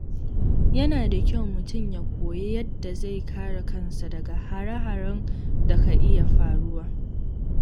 Yana da kyau mutum ya koyi yadda zai kare kansa daga hare-haren da ka iya faruwa.